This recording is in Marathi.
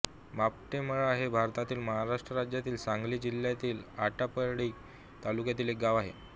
मापटेमळा हे भारतातील महाराष्ट्र राज्यातील सांगली जिल्ह्यातील आटपाडी तालुक्यातील एक गाव आहे